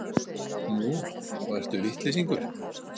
Nú, og ertu vitleysingur?